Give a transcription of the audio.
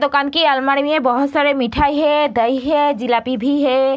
दुकान की अलमारी में बहोत सारी मिठाई है दही है जिलाबी भी है।